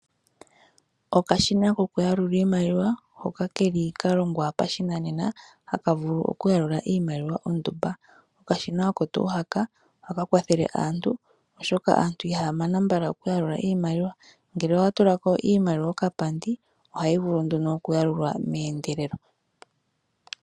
Okashina koku yalula iimaliwa hoka keli ka longwa pa shinanena haka vulu oku yalula iimaliwa ondumba. Okashina oko tuu haka ohaka kwathele aantu oshoka aantu ihaya mana mbala oku yalula iimaliwa. Ngele owa tulako iimaliwa okapandi ohayi vulu nduno oku yalulwa meeyendelelo.